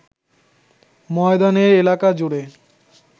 ময়দানের এলাকাজুড়ে